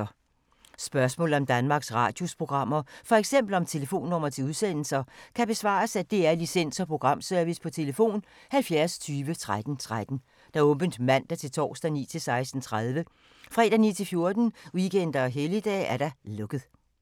Spørgsmål om Danmarks Radios programmer, f.eks. om telefonnumre til udsendelser, kan besvares af DR Licens- og Programservice: tlf. 70 20 13 13, åbent mandag-torsdag 9.00-16.30, fredag 9.00-14.00, weekender og helligdage: lukket.